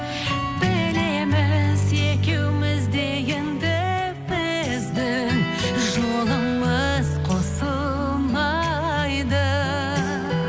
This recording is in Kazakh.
білеміз екеуіміз де енді біздің жолымыз қосылмайды